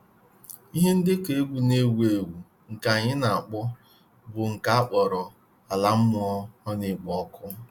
Ihe ndekọ egwu n'ewu ewu nke anyị n'akpọ bụ nke a kpọrọ "Ala Mmụọ ọ n'ekpo ọkụ?"